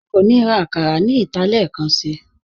À kò ní rá àkàrà ní ìtà lẹẹkànṣí